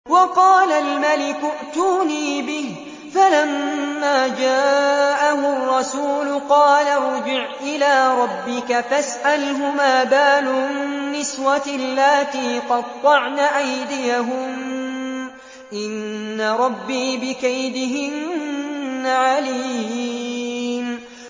وَقَالَ الْمَلِكُ ائْتُونِي بِهِ ۖ فَلَمَّا جَاءَهُ الرَّسُولُ قَالَ ارْجِعْ إِلَىٰ رَبِّكَ فَاسْأَلْهُ مَا بَالُ النِّسْوَةِ اللَّاتِي قَطَّعْنَ أَيْدِيَهُنَّ ۚ إِنَّ رَبِّي بِكَيْدِهِنَّ عَلِيمٌ